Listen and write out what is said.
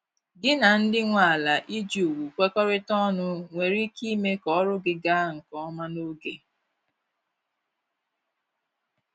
Gị na ndị nwe ala iji ùgwù kwekorita ọnụ nwere ike ime ka ọrụ gị ga nke ọma n'oge